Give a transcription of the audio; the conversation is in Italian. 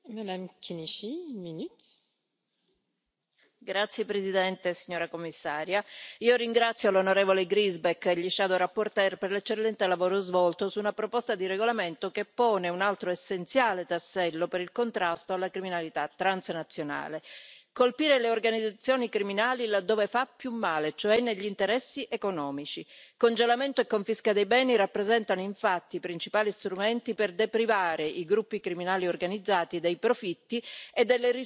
Signora Presidente, onorevoli colleghi, signora Commissario, ringrazio l'onorevole Griesbeck e i relatori ombra per l'eccellente lavoro svolto su una proposta di regolamento che pone un altro essenziale tassello per il contrasto alla criminalità transnazionale. Colpire le organizzazioni criminali laddove fa più male, cioè negli interessi economici il congelamento e la confisca dei beni rappresentano infatti i principali strumenti per deprivare i gruppi criminali organizzati dei profitti e delle risorse necessarie al loro illecito operare.